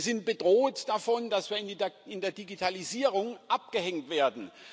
Wir sind bedroht davon, dass wir in der Digitalisierung abgehängt werden.